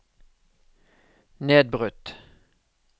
nedbrutt